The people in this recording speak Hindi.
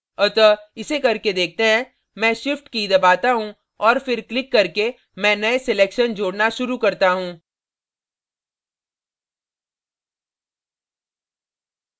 अतः इसे करके देखते हैं मैं shift की key दबाता हूँ और फिर क्लिक करके मैं नए selections जोड़ना शुरू करता हूँ